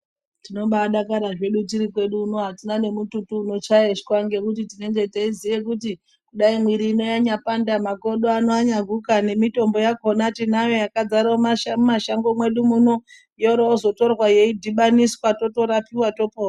Tinobadakara zvedu tiri kwedu uno hatina nemututu unochayeshwa nekuti tinenge teiziye kuti dai mwiri ino yanyapanda. Makodo ano anyaguka nemitombo yakona tinayo yakadzara mumashango mwedu muno yoro yozotorwa yeidhibaniswa totorapiva topora.